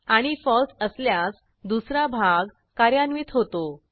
आणि falseअसल्यास दुसरा भाग कार्यान्वित होतो